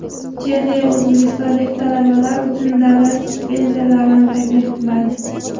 Chexiya o‘zbekistonlik talabalar uchun davlat stipendiyalarini taklif qiladi.